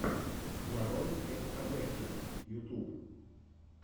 нарой эс кабече ютуб